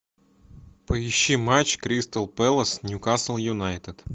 поищи матч кристал пэлас ньюкасл юнайтед